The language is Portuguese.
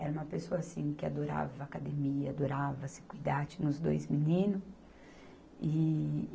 Era uma pessoa assim que adorava academia, adorava se cuidar, tinha os dois meninos. E